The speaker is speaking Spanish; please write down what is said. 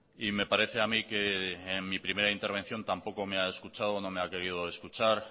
y me parece a mí que en mi primera intervención tampoco me ha escuchado o no me ha querido escuchar